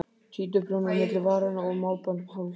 Títuprjónar milli varanna og málband um hálsinn.